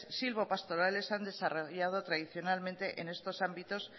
silvopastorales han desarrollado tradicionalmente en estos ámbitos